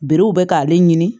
Berew bɛ k'ale ɲini